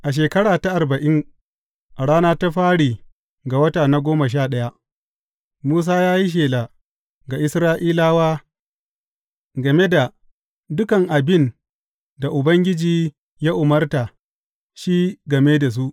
A shekara ta arba’in, a rana ta fari ga wata na goma sha ɗaya, Musa ya yi shela ga Isra’ilawa game da dukan abin da Ubangiji ya umarta shi game da su.